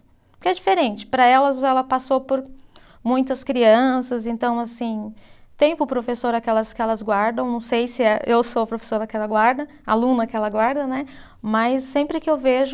Porque é diferente, para elas ela passou por muitas crianças, então assim, tem para o professor aquelas que elas guardam, não sei se é, eu sou a professora que ela guarda, aluna que ela guarda, né, mas sempre que eu vejo,